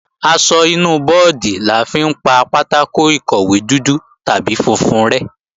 Aṣọ ìnu bọ́ọ̀dì la fi ń pa pátákò ìkọ̀wé dúdú tàbí funfun rẹ́